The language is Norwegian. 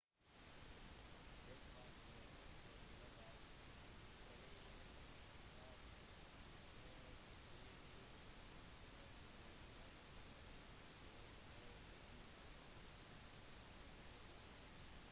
det var protester globalt flere straffeforfølgelser og statsoverhodene i både island og pakistan trakk seg